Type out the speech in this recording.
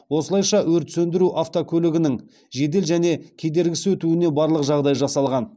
осылайша өрт сөндіру автокөлігінің жедел және кедергісіз өтуіне барлық жағдай жасалған